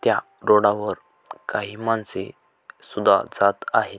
त्या रोडा वर काही माणसे सुद्धा जात आहेत.